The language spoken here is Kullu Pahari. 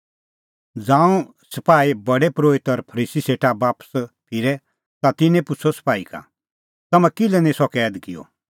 ज़ांऊं सपाही प्रधान परोहिता और फरीसी सेटा बापस फिरै ता तिन्नैं पुछ़अ सपाही का तम्हैं किल्है निं सह कैद किअ